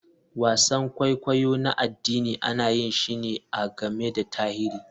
Wasan kwaikwayo na addini ana yin shi ne a game da tarihi.